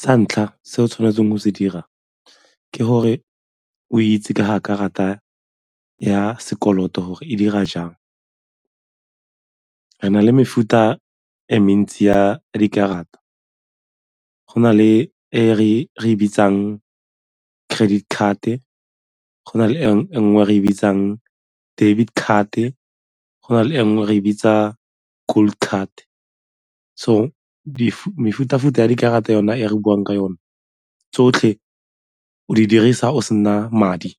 Sa ntlha se o tshwanetseng go se dira ke gore o itse gore ka ga karata ya sekoloto gore e dira jang. Re na le mefuta e mentsi ya dikarata go na le e re e bitsang credit card-e, go na le e nngwe re e bitsang debit card-e, go na le e nngwe re e bitsang gold card. So, mefuta-futa ya dikarata yona e re buang ka yone tsotlhe o di dirisa o sena madi